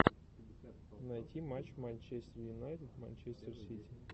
найти матч манчестер юнайтед манчестер сити